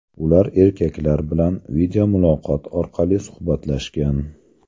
Ular erkaklar bilan videomuloqot orqali suhbatlashgan.